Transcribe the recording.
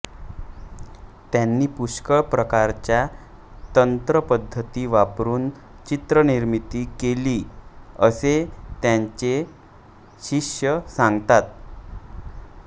त्यांनी पुष्कळ प्रकारच्या तंत्रपद्धती वापरुन चित्रनिर्मिती केली असे त्यांचे शिष्य सांगतात